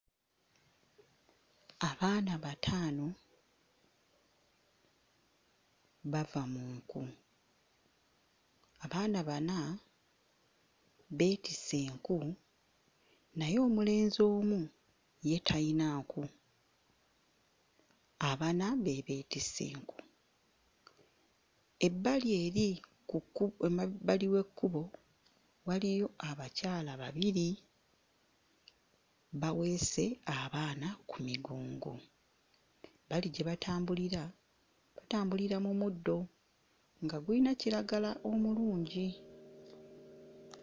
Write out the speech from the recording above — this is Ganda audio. Abaana bataano bava mu nku. Abaana bana beetisse enku, naye omulenzi omu ye tayina nku. Abana be beetisse enku. Ebbali eri ku kku emabbali w'ekkubo waliyo abakyala babiri baweese abaana ku migongo. Ebbali gye batambulira, batambulira mu muddo nga gulina kiragala omulungi.